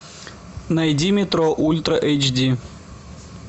найди метро ультра эйч ди